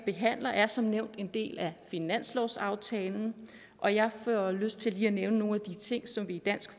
her er som nævnt en del af finanslovsaftalen og jeg får lyst til lige at nævne nogle af de ting som vi i dansk